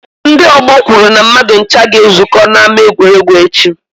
Ndị ọgbọ kwuru na mmadụ ncha ga-ezukọ n'ama egwuregwu echi.